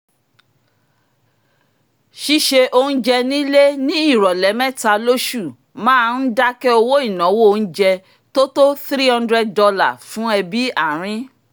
ṣíṣe oúnjẹ nílé ní ìròlẹ̀ mẹ́ta lósù máa ń dákẹ́ owó ináwó oúnjẹ tó tó $300 fún ẹbí arin